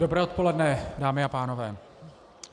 Dobré odpoledne, dámy a pánové.